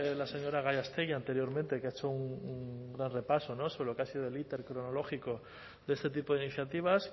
la señora gallástegui anteriormente que ha hecho un gran repaso sobre lo que ha sido el íter cronológico de este tipo de iniciativas